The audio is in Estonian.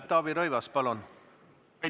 Taavi Rõivas, palun!